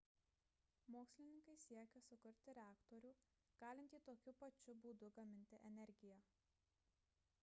mokslininkai siekia sukurti reaktorių galintį tokiu pačiu būdu gaminti energiją